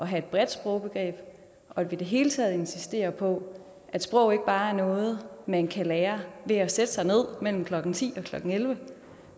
have et bredt sprogbegreb og hele tiden insistere på at sproget ikke bare er noget man kan lære ved at sætte sig ned mellem klokken ti og klokken elleve